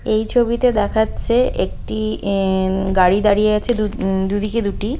এই ছবিতে দেখাচ্ছে একটি আ-- গাড়ি দাঁড়িয়েছে দু দিকে দুটি।